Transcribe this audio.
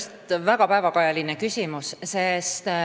See on väga päevakajaline küsimus.